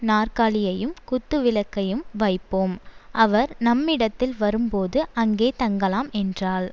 நாற்காலியையும் குத்துவிளக்கையும் வைப்போம் அவர் நம்மிடத்தில் வரும்போது அங்கே தங்கலாம் என்றாள்